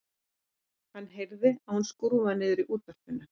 Hann heyrir að hún skrúfar niður í útvarpinu.